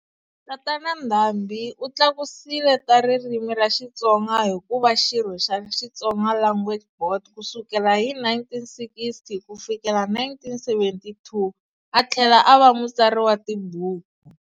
Tatana Ndhambi u tlakusile ta ririmi ra Xitsonga hi ku va xirho xa Xitsonga Langauge Board ku sukela hi 1960 ku fikela 1972 a thlela a va mutsari wa tibuku.